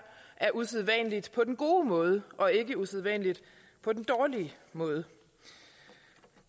er usædvanligt på den gode måde og ikke usædvanligt på den dårlige måde